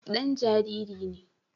Dan jariri ne